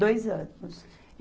Dois anos.